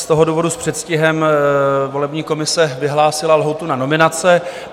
Z toho důvodu s předstihem volební komise vyhlásila lhůtu na nominace.